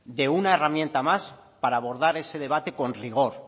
de una herramienta más para abordar ese debate con rigor